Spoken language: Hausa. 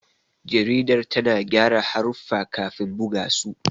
Jaridar tana gyara haruffa kafin buga su.